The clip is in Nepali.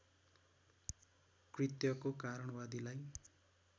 कृत्यको कारण वादीलाई